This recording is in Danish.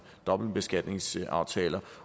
dobbeltbeskatningsaftaler